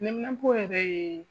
Neminanpo yɛrɛ ye